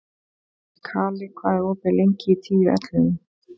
Kali, hvað er opið lengi í Tíu ellefu?